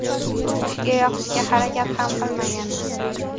U kishiga yoqishga harakat ham qilmaganman.